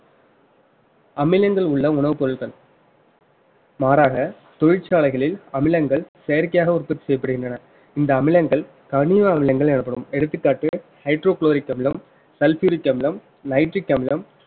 அமிலங்கள் உள்ள உணவுப் பொருட்கள் மாறாக தொழிற்சாலைகளில் அமிலங்கள் செயற்கையாக உற்பத்தி செய்யப்படுகின்றன இந்த அமிலங்கள் கனிம அமிலங்கள் எனப்படும் எடுத்துக்காட்டு hydrochloric அமிலம் sulfuric அமிலம் nitric அமிலம்